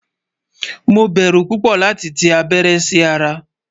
Mo bẹ́rú púpọ̀ lati tì abẹ̀rẹ̀ sí ara